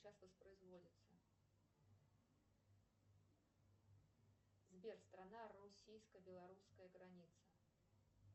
сбер страна российско белорусская граница